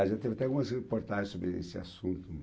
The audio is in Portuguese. já teve até algumas reportagens sobre esse assunto.